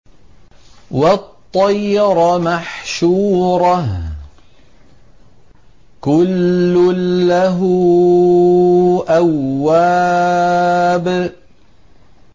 وَالطَّيْرَ مَحْشُورَةً ۖ كُلٌّ لَّهُ أَوَّابٌ